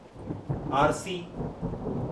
आरिसी